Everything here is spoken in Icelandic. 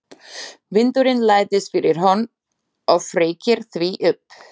Vindurinn læðist fyrir horn og feykir því upp.